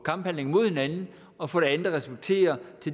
kamphandling mod hinanden og for det andet at respektere